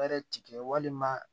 tigɛ walima